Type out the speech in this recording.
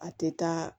A tɛ taa